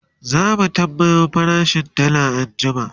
zamu tambayo farashin dalla anjima